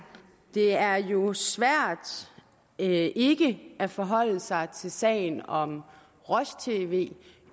det er jo svært ikke ikke at forholde sig til sagen om roj tv